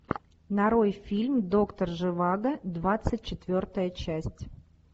нарой фильм доктор живаго двадцать четвертая часть